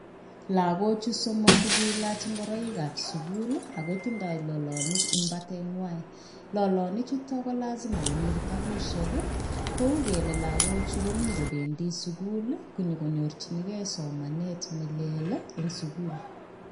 Lakochu somok kokelach ngoroik ab sukul akotinye lolonik en batet koboru kole bendi kecheng somanet eng sukul